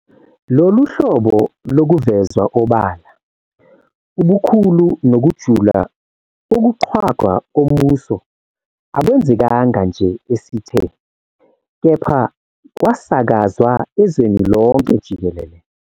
Lolu hlobo lokuvezwa obala, ubukhulu nokujula kokuqhwagwa kombuso akwenzekanga nje esithe, kepha kwasakazwa ezweni lonke jikelele.